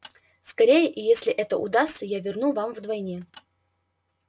скорее и если это удастся я верну вам вдвойне